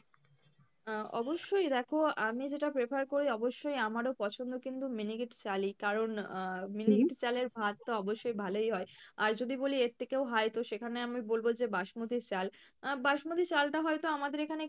আহ অবশ্যই দেখো আমি যেটা prefer করি অবশ্যই আমারও পছন্দ কিন্তু miniket চালই কারন আহ miniket চালের ভাত তো অবশ্যই ভালোই হয় আর যদি বলি এর থেকেও high তো সেখানে আমি বলবো যে basmati চাল আহ Basmati চাল টা হয়তো আমাদের এখানে